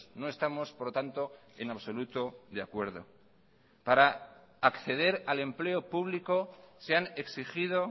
no estamos por lo tanto en absoluto de acuerdo para acceder al empleo público se han exigido